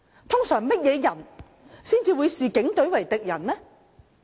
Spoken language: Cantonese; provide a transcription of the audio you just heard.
通常甚麼人才會視警隊為敵人呢？